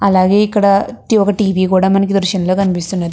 అలాగే ఇక్కడ ఒక టి.వ. కూడా మనకి ఈ దృశ్యం లో కనిపిస్తున్నది.